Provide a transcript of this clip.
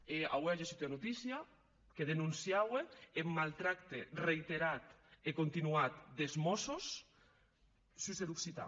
e aué a gessut ua notícia que denonciaue eth mautractament reïterat e continuat des mòssos sus er occitan